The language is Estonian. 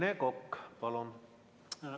Rene Kokk, palun!